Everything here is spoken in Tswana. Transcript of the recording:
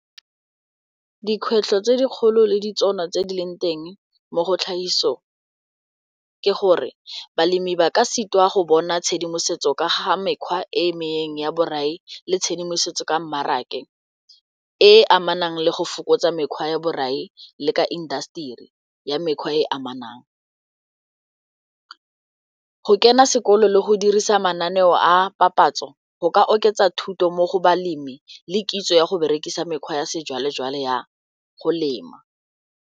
Dikgwetlho tse dikgolo le ditšhono tse di leng teng mo go tlhagisong ke gore balemi ba ka sitwa go bona tshedimosetso ka ga mekgwa e mengwe ya borai le tshedimosetso ka mmaraka e amanang le go fokotsa mekgwa ya borai le ka indaseteri ya mekgwa e e amanang. Go kena sekolo le go dirisa mananeo a papatso go ka oketsa thuto mo go balemi le kitso ya go berekisa mekgwa ya sejwalejwale ya go lema.